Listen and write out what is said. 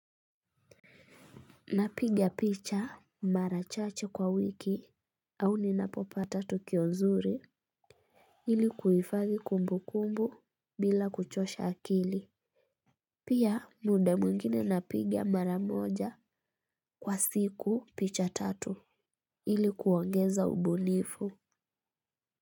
Napiga picha mara chache kwa wiki au ninapopata tukio nzuri ili kuhifadhi kumbu kumbu bila kuchosha akili. Pia muda mwingine napiga mara moja kwa siku picha tatu ili kuongeza ubunifu.